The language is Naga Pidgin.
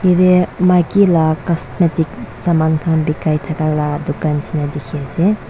ite maike la cusmatic Saman khan bikai thaka la dukan nishina dikhai ase.